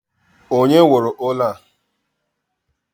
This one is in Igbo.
Onye wuru ụlọ a?